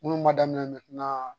Munnu ma daminɛ